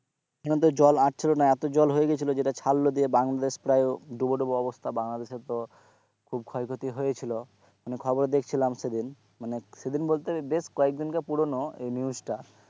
এখন তো জল আসছিলো না এত জল হয়ে গেছিলো যেটা ছাড়লো দিয়ে বাংলাদেশ প্রায় ডুবো ডুবো অবস্থা বাংলাদেশে তো খুব ক্ষয় ক্ষতি হয়ে ছিলো মানে খবর দেখছিলাম সেদিন মানে সেদিন বলতে বেশ কয়েক দিন কার পুরোনো এই news টা,